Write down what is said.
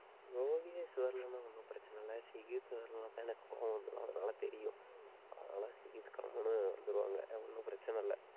யோகேஷ் வரலைன்னா ஒண்ணும் பிரச்சனை இல்லை சிகித் வரலைன்னாதான் எனக்கு கோவம் வந்துரும். அதனால தெரியும். அதனால சிகித் கம்முன்னு வந்துருவாங்க. ஒண்ணும் பிரச்சனை இல்லை